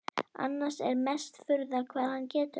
Annars er mesta furða hvað hann getur.